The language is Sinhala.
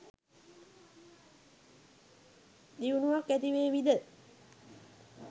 දියුණුවක් ඇතිවේවි ද?